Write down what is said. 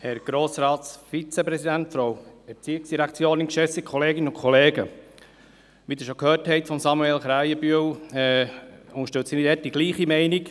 Wie Sie von Samuel Krähenbühl schon gehört haben, unterstütze ich die gleiche Meinung.